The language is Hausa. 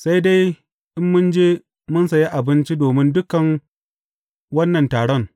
Sai dai, in mun je mu sayi abinci domin dukan wannan taron.